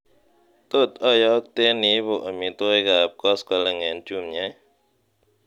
tot oyokten iibu omitwogik ab koskoleng en jumia ii